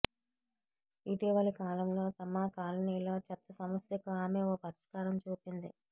ఇటీవలి కాలంలో తమ కాలనీలో చెత్త సమస్యకు ఆమె ఓ పరిష్కారం చూపింది